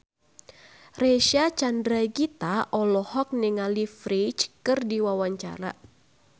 Reysa Chandragitta olohok ningali Ferdge keur diwawancara